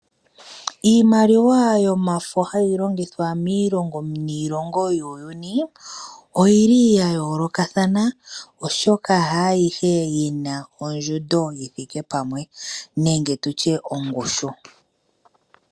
Iimaliwa yomafo hayi longithwa miilongo niilongo muuyuni, oya yoolokathana oshoka kayishi ayihe yina ondjundo yithike pamwe nenge tutye ongushu.